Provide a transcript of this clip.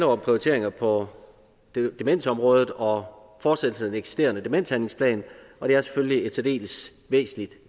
om prioriteringer på demensområdet og fortsættelse af den eksisterende demenshandlingsplan og det er selvfølgeligt et særdeles væsentligt